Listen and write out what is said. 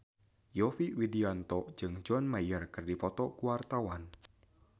Yovie Widianto jeung John Mayer keur dipoto ku wartawan